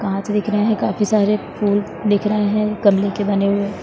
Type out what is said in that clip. कांच दिख रहे है काफी सारे फूल दिख रहे है गमले के बने हुए ।